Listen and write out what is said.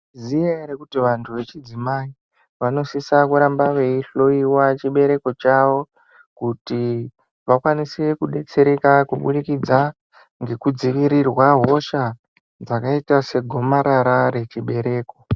Mwaizviziva ere kuti vantu vechidzimai, vanosisa kuramba vaihloiwa chibereko chavo. Kuti vakwanise kudetsereka kubudikidza ngekudzivirirwa hosha, dzakaita segomarara rechibereko.